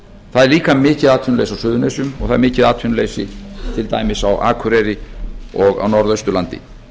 það er líka mikið atvinnuleysi á suðurnesjum og það er mikið atvinnuleysi til dæmis á akureyri og á norðausturlandi